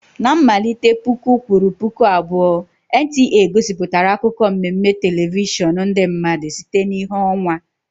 Na mmalite puku kwuru puku abụọ NTA gosipụtara akụkọ mmemme telivishọn ndị mmadụ site na ìhè ọnwa.